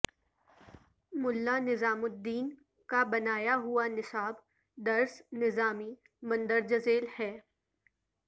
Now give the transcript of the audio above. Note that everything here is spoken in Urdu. ملا نظام الدین کا بنایا ہوا نصاب درس نظامی مندرجہ ذیل ہے